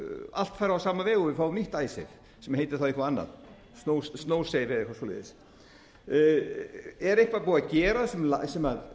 allt fari á sama veg og við fáum nýtt icesave sem heitir þá eitthvað annað er eitthvað búið að gera sem tryggir að